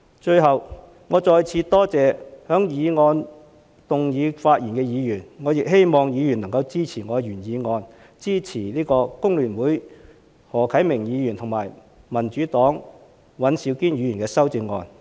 最後，我再次多謝就議案發言的議員，我亦希望議員能夠支持我的原議案，支持工聯會的何啟明議員和民主黨的尹兆堅議員的修正案。